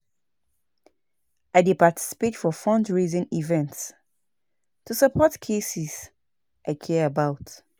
I dey participate for fundraising events to support causes I care about.